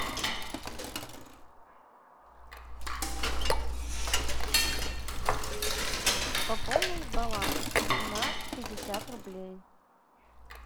пополнить баланс на пятьдесят рублей